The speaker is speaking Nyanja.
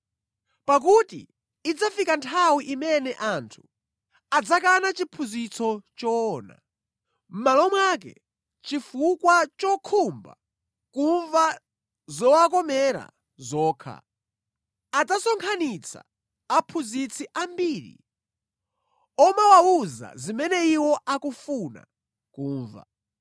Pakuti idzafika nthawi imene anthu adzakana chiphunzitso choona. Mʼmalo mwake, chifukwa chokhumba kumva zowakomera zokha, adzasonkhanitsa aphunzitsi ambiri omawawuza zimene iwo akufuna kumva.